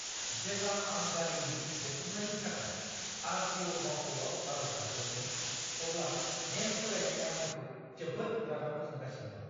जेब्ला आं गारिनि रेबथुमनायनि थाखाय आर.टि.अ'. मावख'आव आर'ज गाबदोंमोन, अब्ला नेम सोलायनाया आंखौ जोबोद रागा फोजोंगासिनो दं!